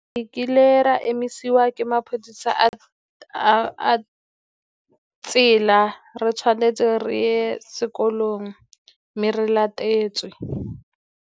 Ekile ra emisiwa ke maphodisa a tsela re tshwanetse re ye sekolong mme re latetswe.